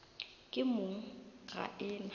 ke mong ga e na